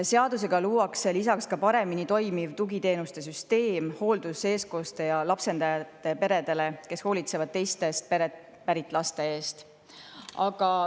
Lisaks luuakse seadusega paremini toimiv tugiteenuste süsteem hooldus-, eestkoste- ja lapsendajaperedele, kes hoolitsevad teistest peredest pärit laste eest.